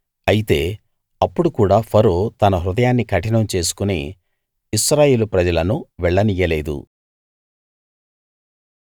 అయితే అప్పుడు కూడా ఫరో తన హృదయాన్ని కఠినం చేసుకుని ఇశ్రాయేలు ప్రజలను వెళ్ళనియ్యలేదు